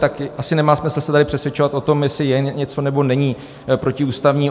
Tak asi nemá smysl se tady přesvědčovat o tom, jestli je něco nebo není protiústavní.